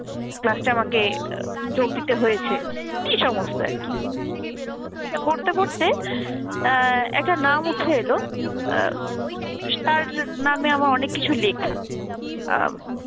class টা আমাকে যোগ দিতে হয়েছে এই সমস্ত আর কি। তা পড়তে পড়তে অ্যাঁ একটা নাম উঠে এলো আহ তার নামে আমার অনেক কিছু লেখা। আ